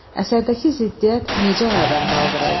Əsərdəki ziddiyyət necə aradan qaldırıldı?